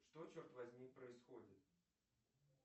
что черт возьми происходит